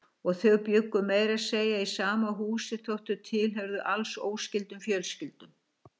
Og þau bjuggu meira að segja í sama húsi þótt þau tilheyrðu alls óskyldum fjölskyldum.